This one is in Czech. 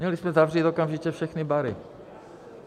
Měli jsme zavřít okamžitě všechny bary.